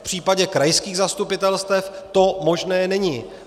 V případě krajských zastupitelstev to možné není.